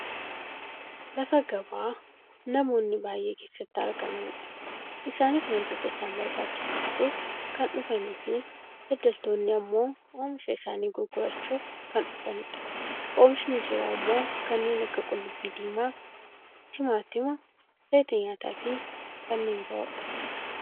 Lafa gabaa namoonji baayyee keessatti argamanidha. Isaanis wantoota isaan barbaachisu bituuf kan dhufaniifi daddaaltonni ammoo oomisha isaanii gurgurachuuf kan dhufanidha. Oomishni jiru ammoo kanneen akka qullubbii diimaa, ximaatima, zayita nyaataafi kanneen biroodha.